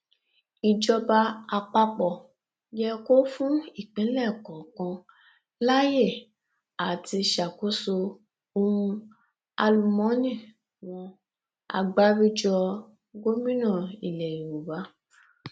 ìjọba àpapọ yẹ kó fún ìpínlẹ kọọkan láyè àti ṣàkóso ohun àlùmọọnì wọn agbáríjọ gómìnà ilẹ yorùbá